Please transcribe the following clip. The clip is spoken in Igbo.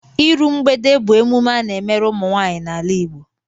Iru mgbede bụ emume a na-emere ụmụnwaanyị n'ala Igbo